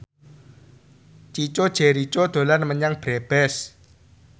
Chico Jericho dolan menyang Brebes